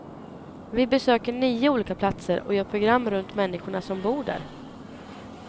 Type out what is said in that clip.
Vi besöker nio olika platser och gör program runt människorna som bor där.